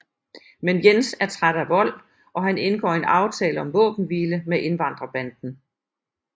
Men Jens er træt af vold og han indgår en aftale om våbenhvile med indvandrerbanden